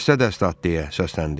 Dəstə-dəstə at deyə səsləndi.